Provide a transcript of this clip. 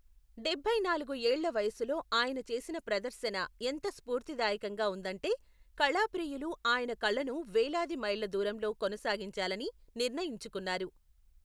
డబ్బై నాలుగు ఏళ్ల వయసులో ఆయన చేసిన ప్రదర్శన ఎంత స్ఫూర్తిదాయకంగా ఉందంటే, కళాప్రియులు ఆయన కళను వేలాది మైళ్ల దూరంలో కొనసాగించాలని నిర్ణయించుకున్నారు.